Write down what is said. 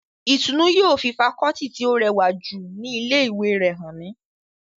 Ìtùnnú yóò fi fakọọti tí ó rẹwà jù ní ilé ìwé rẹ̀ hàn mí